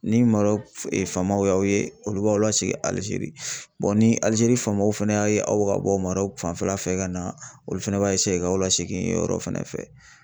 Ni Marɔku famaw y'aw ye olu b'aw lasegin Alizeri ni Alizeri famaw fɛnɛ y'a ye aw ka bɔ Marɔku fanfɛla fɛ ka na, olu fana b'a ka aw la segin o yɔrɔ fɛnɛ fɛ .